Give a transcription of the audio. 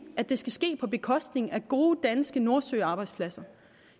at det skal ske på bekostning af gode danske nordsøarbejdspladser